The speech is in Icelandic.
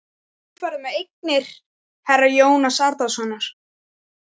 Þú ferð með eignir herra Jóns Arasonar.